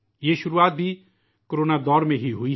اس کا آغاز بھی کورونا دور میں ہی ہوا ہے